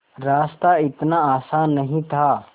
रास्ता इतना आसान नहीं था